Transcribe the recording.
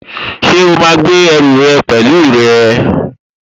Ṣé o máa gbé ẹrù rẹ pẹ̀lú rẹ?